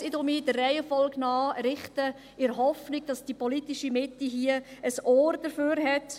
– ich nenne diese Gründe in der Reihenfolge, in der Hoffnung, dass die politische Mitte ein Ohr dafür offen hat: